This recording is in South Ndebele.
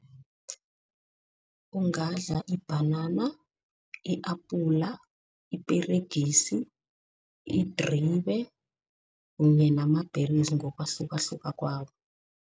Ungadla ibhanana, i-apula, iperegisi, idribe kunye namabheri ngokwahlukahluka kwawo.